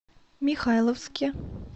михайловске